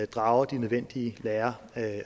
drager de nødvendige lærer af